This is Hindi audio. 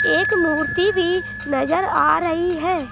एक मूर्ति भी नजर आ रही है।